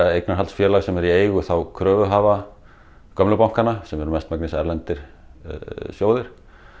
eignarhaldsfélag sem er í eigu kröfuhafa gömlu bankanna sem eru að mestu erlendir sjóðir